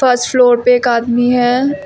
First floor पे एक आदमी है।